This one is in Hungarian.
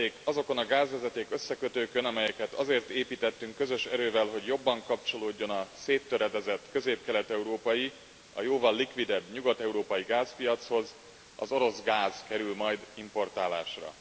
azokon a gázvezeték összekötőkön, amelyeket azért építettünk közös erővel, hogy jobban kapcsolódjon a széttöredezett közép kelet európai a jóval likvidebb nyugat európai gázpiachoz, az orosz gáz kerül majd importálásra.